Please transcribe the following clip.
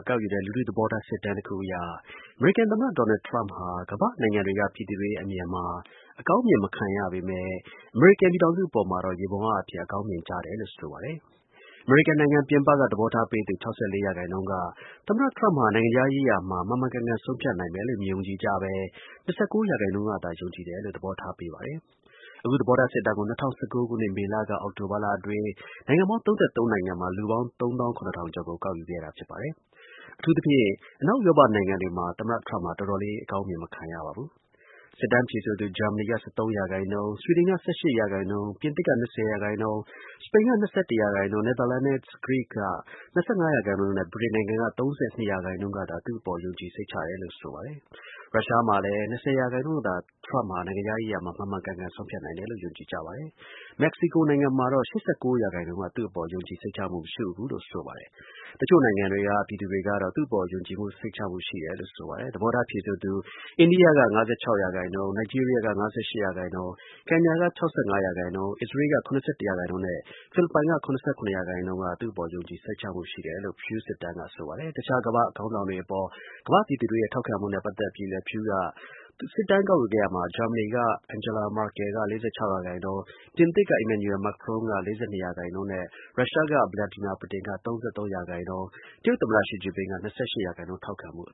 ကောက်ယူတဲ့ လူထု သဘောထား စစ်တမ်းတစ်ခုအရ အမေရိကန် သမ္မတ ဒေါ်နယ်ထရမ့်ဟာ ကမ္ဘာ့နိုင်ငံတွေ က ပြည်သူတွေရဲ့အမြင်မှာ အကောင်းမြင် မခံရပေမဲ့ အမေရိကန် ပြည်ထောင်စု အနေနဲ့ကတော့ ယေဘုယျ အားဖြင့် အကောင်းမြင် ခံရတယ်လို့ဆိုပါတယ်။ အမေရိကန်နိုင်ငံ ပြင်ပက သဘောထားပေးသူ ၆၄ ရာခိုင်နှုန်းက သမ္မတ ထရမ့်ဟာ နိုင်ငံခြားရေးမှာ မှန်မှန်ကန်ကန် ဆုံးဖြတ်နိုင်မယ်လို့ မယုံကြည်ကြဘဲ ၂၉ ရာခိုင်နှုန်းကသာ ယုံကြည်မှုရှိတယ်လို့ သဘောထားပေးပါတယ်။ အခု သဘောထာ စစ်တမ်းကို ၂၀၁၉ ခုနှစ် မေလ ကနေ အောက်တိုဘာလ အတွင်း နိုင်ငံပေါင်း ၃၃ နိုင်ငံမှာ လူပေါင်း ၃၇၀၀၀ ကျော် ကို ကောက်ယူခဲ့တာဖြစ်ပါတယ်။ အထူးသဖြင့် အနောက်ဥရောပတွေမှာ သမ္မတ ထရမ့်ဟာ တော်တော်လေး အကောင်းမြင် မခံရပါဘူး။ စစ်တမ်းဖြေဆိုသူ ဂျာမနီက ၁၃ ရာခိုင်နှုန်း၊ ဆွီဒင်က ၁၈ ရာခိုင်နှုန်း၊ ပြင်သစ်က ၂၀ ရာခိုင်နှုန်း၊ စပိန်က ၂၁ ရာခိုင်နှုန်း၊ နယ်သာလန်နဲ့ ဂရိက ၂၅ ရာခိုင်နှုန်းနဲ့ ဗြိတိန်နိုင်ငံက ၃၂ ရာခိုင်နှုန်းကသာ သူ့အပေါ် ယုံကြည် စိတ်ချတယ်လို့ ဆိုပါတယ်။ ရုရှားမှာလည်း ၂၀ ရာခိုင်နှုန်းကသာ ထရမ့်ဟာ နိုင်ငံခြားရေးရာမှာ မှန်မှန်ကန်ကန် ဆုံးဖြတ်နိုင်မယ်လို့ ယုံကြည်ကြပါတယ်။ မက္ကဆီကို နိုင်ငံမှာတော့ ၈၉ ရာခိုင်နှုန်းက သူ့အပေါ် ယုံကြည် စိတ်ချမှု မရှိဘူးလို့ ဆိုပါတယ်။ တချို့နိုင်ငံတွေက ပြည်သူတွေကတော့ သူ့အပေါ် ယုံကြည်စိတ်ချမှု ရှိပါတယ်။ သဘောထား ဖြေဆိုသူ အိန္ဒိယက ၅၆ ရာခိုင်နှုန်း၊ နိုင်ဂျီးရီးယားက ၅၈ ရာခိုင်နှုန်း၊ ကင်ညာက ၆၅ ရာခိုင်နှုန်း၊ အစ္စရေးလ်က ၇၁ ရာခိုင်နှုန်းနဲ့ ဖိလစ်ပိုင်နိုင်ငံက ၇၇ ရာခိုင်နုှန်းက သူ့အပေါ် ယုံကြည် စိတ်ချမှု ရှိတယ်လို့ Pew စစ်တမ်းက ဆိုပါတယ်။ တခြား ကမ္ဘာ့ ခေါင်းဆောင်တွေ အပေါ် ကမ္ဘာ့ပြည်သူတွေရဲ့ ထောက်ခံမှုနဲ့ ပတ်သက်ပြီးလည်း Pew က စစ်တမ်းကောက်ယူခဲ့ရာမှာ ဂျာမနီက Angela Merkel က ၄၆ ရာခိုင်နှုန်း၊ ပြင်သစ်က Emmanuel Macron က ၄၂ ရာခိုင်နုှန်းနဲ့ ရုရှားက Vladimir Putin က ၃၃ ရာခိုင်နှုန်းနဲ့ တရုတ်သမ္မတ ရှီကျင်းပင် က ၂၈ ရာခိုင်နှုန်း ထောက်ခံမှု အ